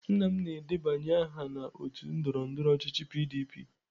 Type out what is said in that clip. Nna m na-edebanye aha na otu ndọrọndọrọ ọchịchị PDP.